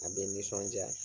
A bɛ nisɔnja.